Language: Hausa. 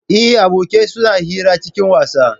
Eh, abokai suna hira cikin wasa